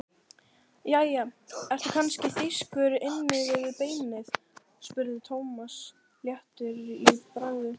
Jæja, ertu kannski þýskur inni við beinið? spurði Thomas léttur í bragði.